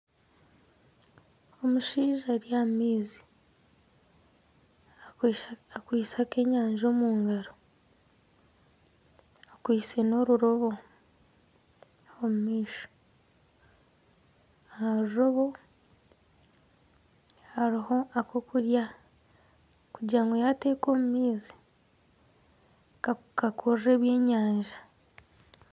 Omushaija ari aha maizi akwaitse akenyanja omu ngaro, akwaiste n'orurobo omu maisho. Aha rurobo hariho akokurya kugira ngu yateeka omu maizi kakurure ebyenyanja.